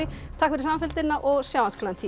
takk fyrir samfylgdina og sjáumst klukkan tíu